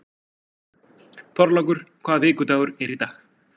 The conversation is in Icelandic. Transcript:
Þorlákur, hvaða vikudagur er í dag?